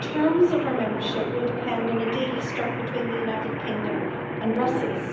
final terms of our membership will depend on the deal struck between the United Kingdom and Brussels.